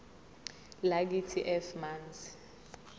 lakithi f manzi